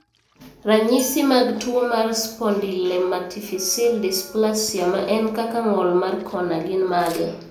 Ranyisi mag tuwo mar spondylometaphyseal dysplasia ma en kaka ng'ol mar kona gin mage?